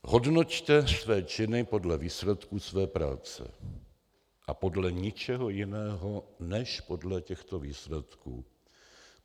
Hodnoťte své činy podle výsledků své práce a podle ničeho jiného než podle těchto výsledků.